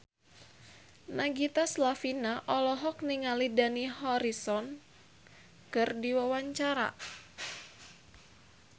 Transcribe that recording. Nagita Slavina olohok ningali Dani Harrison keur diwawancara